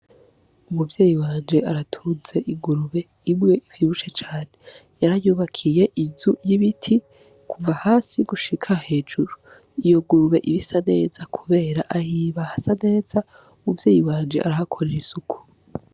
Umuvyeyi wanje aratuze igurube ibwe ivibushe cane yarayubakiye izu y'ibiti kuva hasi y' gushika hejuru iyo gurube ibisa neza, kubera ahiba hasa neza umuvyeyi wanje arahakorera isuku.